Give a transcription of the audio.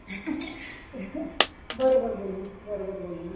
ter बरोबर बोलीस बरोबर बोलीस